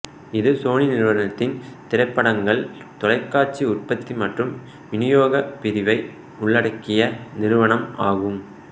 இது சோனி நிறுவனத்தின் திரைப்படங்கள் தொலைக்காட்சி உற்பத்தி மற்றும் விநியோக பிரிவை உள்ளடக்கிய நிறுவனம் ஆகும்